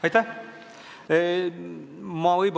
Aitäh!